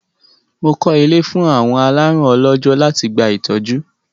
Mo kọ́ ilé fún àwọn alárùn ọlọ́jọ́ láti gba ìtọ́jú.